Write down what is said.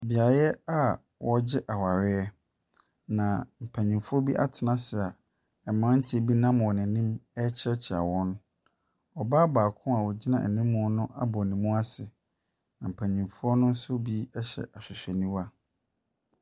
Beaeɛ a wɔregye awareɛ, na mpanimfoɔ bi atena ase a mmeranteɛ bi wɔ wɔn anim ɛrekyiakyia wɔn. Ɔbaa baakoa ogyina anim hɔ no abɔ ne mu ase. Na mpanimfoɔ ne hyɛ ahwehwɛniwa.